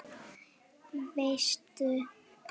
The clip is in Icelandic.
Það veistu